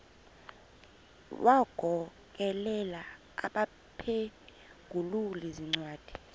wagokelela abaphengululi zincwadi